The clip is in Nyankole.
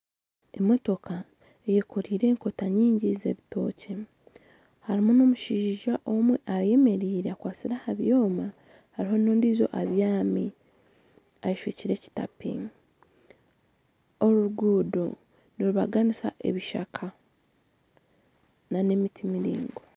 Emootoka eyekoreire ekoota nyingi z'ebitookye harimu n'omushaija omwe ayemereire akwatsire aha byoma hariho n'ondijo abyami yeshwekire ekitapini orugudo nirubaganisa ebishaka na n'emiti miraingwa.